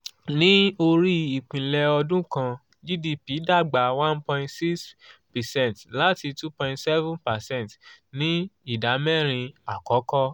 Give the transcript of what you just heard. ní orí ìpìlẹ̀ ọdún kan gdp dàgbà one point six percent láti two point seven percent ní ìdámẹ́rin àkọ́kọ́.